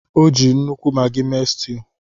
O ji nnukwu Maggi mee stew